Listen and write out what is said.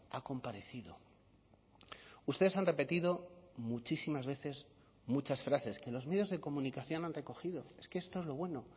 ha comparecido ustedes han repetido muchísimas veces muchas frases que los medios de comunicación han recogido es que esto es lo bueno